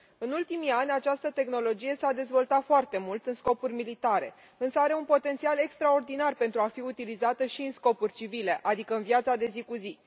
În ultimii ani, această tehnologie s a dezvoltat foarte mult în scopuri militare, însă are un potențial extraordinar pentru a fi utilizată și în scopuri civile, adică în viața de zi cu zi.